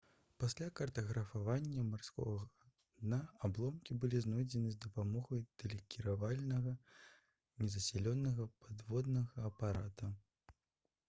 пасля картаграфавання марскога дна абломкі былі знойдзены з дапамогай тэлекіравальнага незаселенага падводнага апарата